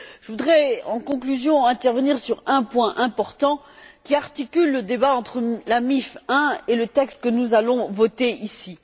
Je voudrais, en conclusion, intervenir sur un point important qui articule le débat entre la MIF I et le texte que nous allons voter ici.